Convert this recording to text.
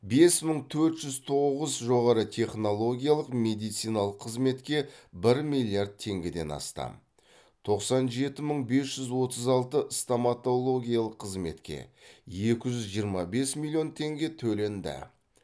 бес мың төрт жүз тоғыз жоғарытехнологиялық медициналық қызметке бір миллиард теңгеден астам тоқсан жеті мың бес жүз отыз алты стоматологиялық қызметке екі жүз жиырма бес миллион теңге төленді